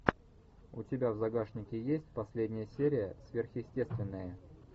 у тебя в загашнике есть последняя серия сверхъестественное